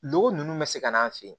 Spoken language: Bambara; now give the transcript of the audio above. Logo ninnu bɛ se ka n'an fɛ yen